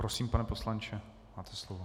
Prosím, pane poslanče, máte slovo.